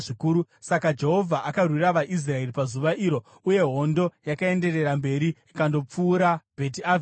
Saka Jehovha akarwira vaIsraeri pazuva iro, uye hondo yakaenderera mberi ikandopfuura Bheti Avheni.